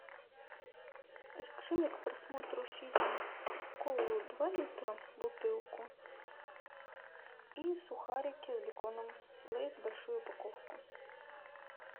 закажи мне к просмотру фильма колу два литра бутылку и сухарики с беконом лейс большую упаковку